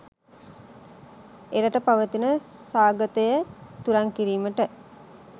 එරට පවතින සාගතය තුරන් කිරීමට